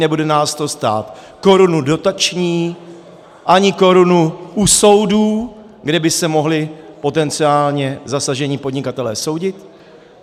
Nebude nás to stát korunu dotační ani korunu u soudu, kde by se mohli potenciálně zasažení podnikatelé soudit.